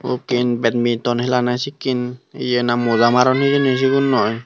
ukken betmiton helana sikken ye na moja maron hijeni sigunnoi.